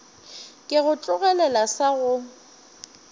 ke go tlogelele sa go